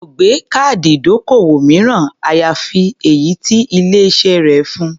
Kò gbé káàdì ìdókòwò mìíràn, àyàfi èyí tí ilé-iṣẹ́ rẹ̀ fun.